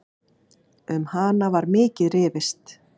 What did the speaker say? Um hana var mikið rifist.